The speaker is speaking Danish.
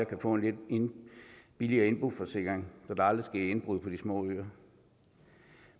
kan få en lidt billigere indboforsikring da der aldrig sker indbrud på de små øer